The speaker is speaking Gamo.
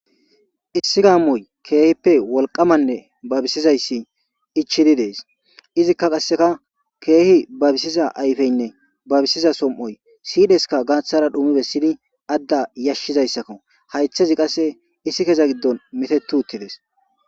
Issi gamoy keehippe wolqamanne babisizays ichid Des, izika qaseka keeh babisiza ayfeyne babisiza som'oy sidheska gathara dhum besid ada yashizaysako , haytheza qase iskeza gidon mitet utides.